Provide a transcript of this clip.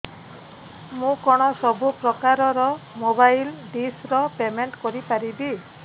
ମୁ କଣ ସବୁ ପ୍ରକାର ର ମୋବାଇଲ୍ ଡିସ୍ ର ପେମେଣ୍ଟ କରି ପାରିବି